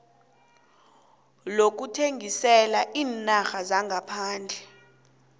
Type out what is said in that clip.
lokuthengisela iinarha zangaphandle